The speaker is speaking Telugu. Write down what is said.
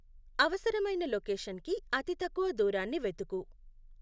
అవసరమైన లొకేషన్కి అతి తక్కువ దూరాన్ని వెతుకు